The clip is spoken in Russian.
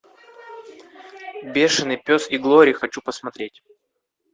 бешеный пес и глори хочу посмотреть